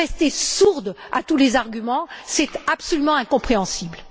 Vous restez sourde à tous les arguments, c'est absolument incompréhensible.